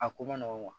A ko nɔgɔn ma